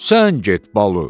Sən get balu,